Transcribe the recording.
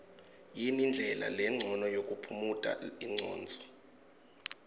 yini ndlela lencono yokuphumuta ingcondvo